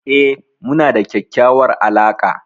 E, muna da kyakkyawar alaqa.